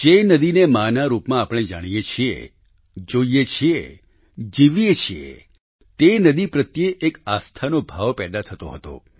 જે નદીને મા ના રૂપમાં આપણે જાણીએ છીએ જોઈએ છીએ જીવીએ છીએ તે નદી પ્રત્યે એક આસ્થાનો ભાવ પેદા થતો હતો